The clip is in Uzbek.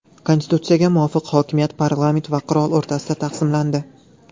Konstitutsiyaga muvofiq hokimiyat parlament va qirol o‘rtasida taqsimlandi .